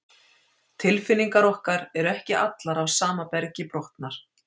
Tilfinningar okkar eru ekki allar af sama bergi brotnar.